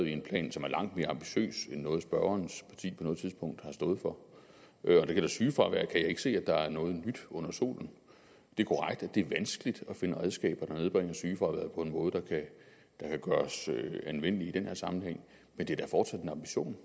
i en plan som er langt mere ambitiøs end noget spørgerens parti noget tidspunkt har stået for når det gælder sygefravær kan jeg ikke se at der er noget nyt under solen det er korrekt at det er vanskeligt at finde redskaber der nedbringer sygefraværet på en måde der kan gøres anvendelig i den her sammenhæng men det er da fortsat en ambition